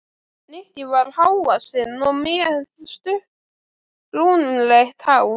Nikki var há- vaxinn og með stutt, brúnleitt hár.